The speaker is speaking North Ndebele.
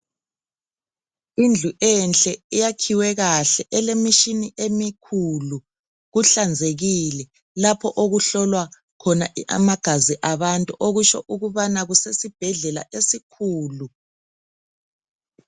Indlu enhle eyakhiwe kahle elemitshina emikhulu, kuhlanzekile lapho okuhlolwa khona amagazi abantu okusho ukubana kusesibhedlela esikhulu.